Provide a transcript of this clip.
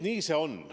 Nii see on.